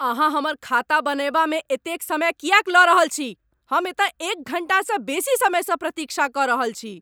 अहाँ हमर खाता बनएबामे एतेक समय किएक लऽ रहल छी? हम एतऽ एक घण्टासँ बेसी समयसँ प्रतीक्षा कऽ रहल छी!